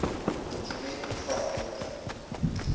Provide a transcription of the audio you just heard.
dokument bevat wenke